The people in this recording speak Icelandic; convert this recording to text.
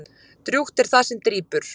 Drjúgt er það sem drýpur.